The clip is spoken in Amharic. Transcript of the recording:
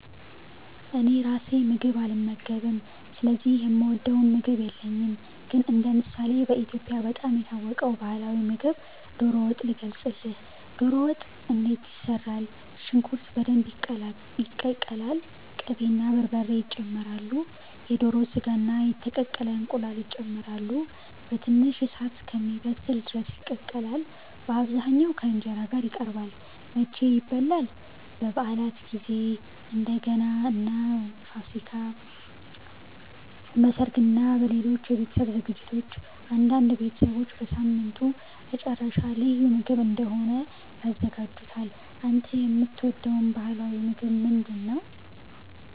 እኔ ራሴ ምግብ አልመገብም ስለዚህ የምወደው ምግብ የለኝም። ግን እንደ ምሳሌ በኢትዮጵያ በጣም የታወቀውን ባህላዊ ምግብ ዶሮ ወጥ ልገልጽልህ። ዶሮ ወጥ እንዴት ይሰራል? ሽንኩርት በደንብ ይቀቀላል። ቅቤ እና በርበሬ ይጨመራሉ። የዶሮ ሥጋ እና የተቀቀለ እንቁላል ይጨመራሉ። በትንሽ እሳት እስኪበስል ድረስ ይቀቀላል። በአብዛኛው ከ እንጀራ ጋር ይቀርባል። መቼ ይበላል? በበዓላት ጊዜ፣ እንደ ገና እና ፋሲካ። በሠርግ እና በሌሎች የቤተሰብ ዝግጅቶች። አንዳንድ ቤተሰቦች በሳምንቱ መጨረሻ ልዩ ምግብ እንደሆነ ያዘጋጁታል። አንተ የምትወደው ባህላዊ ምግብ ምንድነው?